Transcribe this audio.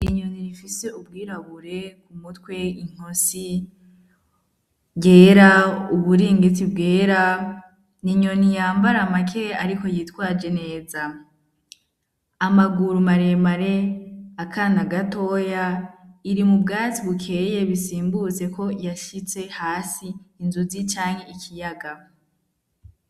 Inyoni ifise ubwirabure ku mutwe inkosi ryera, uburingiti bwera, ni inyoni yambara make ariko yitwaje neza, amaguru maremare akana gatoya iri mu bwatsi bukeye bisimbutse ko yashitse hasi inzuzi canke ikiyaga.